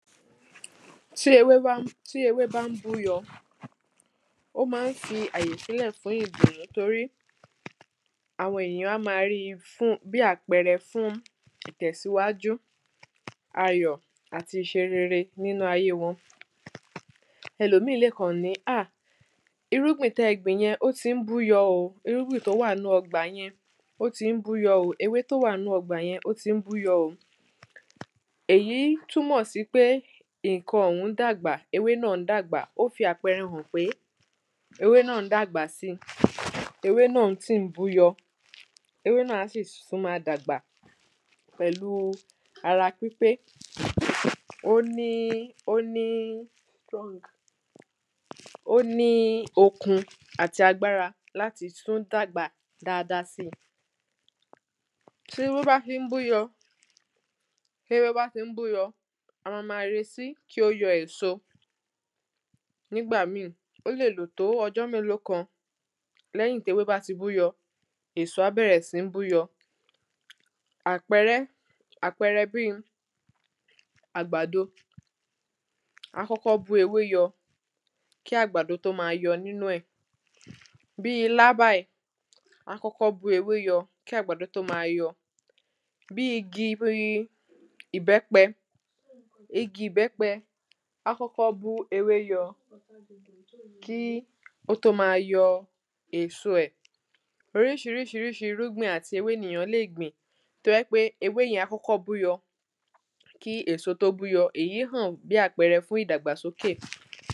tí ewé bá ń búyọ ó máa ń fi àyè sílẹ̀ fún ìgbín torí àwọn èyàn á máa ríi bí àpẹrẹ fún ìtẹ̀síwájú, ayọ̀ àti ìṣe rere nínú ayé wọn ẹlòmíì lèkàn ní áh irúgbìn tẹ́ẹ gbìn yẹn ó ti ń búyọ ò irúgbìn tó wà nínú ọgbà yẹn ó ti ń búyọ ò, ewé tó wà nínú ọgbà yẹn ó ti ń búyọ ò èyí túmọ̀ sí pé ǹkan ọ̀hún ń dàgbà, ewé náà ń dàgbà, ó fi àpẹrẹ hàn pé ewé náà ń dàgbà si, ewé náà sì ń búyọ ewé náà á sì tún máa dàgbà pẹ̀lú ara pípé ó ní okun àti agbára láti tún dàgbà dáa dáa si téwé bá ti ń búyọ, a ma ma retí kí ó yọ èso, nígbà míì ó lè lò tó ọjọ́ mélòó kan lẹ́yìn téwé bá ti búyọ, èso á bẹ̀rẹ̀ sí ń búyọ àpẹrẹ bíi àgbàdo, á kọ́kọ́ bú ewé yọ kí àgbàdo tó máa tó máa yọ nínú ẹ̀. bíi ilá báyìí, á kọ́kọ́ bú ewé yọ kí àgbàdo tó máa yọ bíi igi ìbẹ́pẹ, igi ìbẹ́pẹ á kọ́kọ́ bú ewé yọ kí ó tó máa yọ èso ẹ̀ oríṣiríṣi ríṣi irúgbìn àti ewé nìyàn lè gbìn tó jẹ́ pé ewé yẹn á kọ́kọ́ búyọ kí èso tó búyọ, èyí hàn bí àpẹrẹ fún ìdàgbà sókè